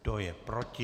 Kdo je proti?